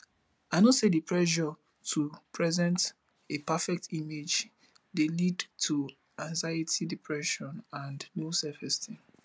i know say di pressure to present a perfect image dey lead to anxiety depression and low selfesteem